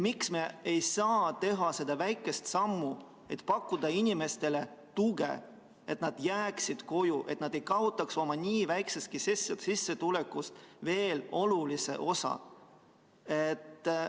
Miks me ei saa teha seda väikest sammu, et pakkuda inimestele tuge, et nad jääksid koju, ilma et nad kaotaks oma niigi väikesest sissetulekust olulist osa?